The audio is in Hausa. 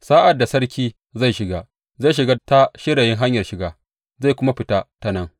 Sa’ad da sarki zai shiga, zai shiga ta shirayin hanyar shiga, zai kuma fita ta nan.